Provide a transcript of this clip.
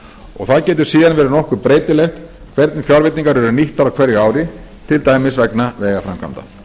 og það getur síðan verið nokkuð breytilegt hvernig fjárveitingar eru nýttar á hverju ári til dæmis vegna vegaframkvæmda